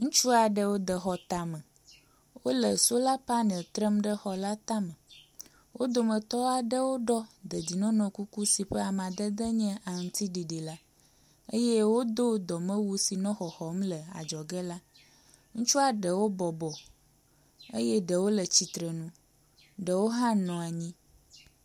ŋutsuaɖewo de xɔ táme wóle sola panel trem ɖe xɔla táme wó dometɔ aɖewo ɖɔ dedienɔnɔ kuku si ƒe amadede nye aŋutsiɖiɖi la eye wodó dɔmewu si nɔ xɔxɔm le adzɔge la ŋutsua ɖewo bɔbɔ ye ɖewo le tsitrenu ɖewo hã nɔ anyi